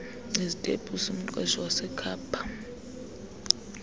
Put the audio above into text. izitepusi umqeshwa wasekhapha